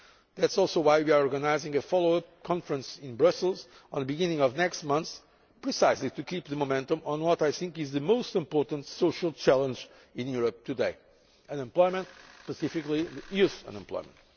It is also why we are organising a follow up conference in Brussels at the beginning of next month in order to keep up the momentum on what I think is the most important social challenge in Europe today unemployment, and specifically youth unemployment.